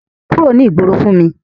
Kúrò ní ìgboro fún mi!